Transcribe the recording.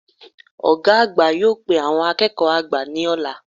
Ògá àgbà yóò pe àwon akéèkó àgbà ní òla